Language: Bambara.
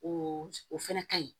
O o fɛnɛ ka ɲi